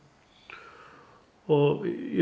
og ég